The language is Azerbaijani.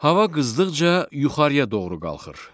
Hava qızdıqca yuxarıya doğru qalxır.